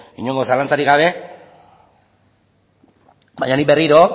inongo zalantzarik gabe baina nik berriro